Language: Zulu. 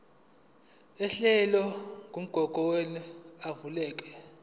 uhlelo lwamagugu avikelwe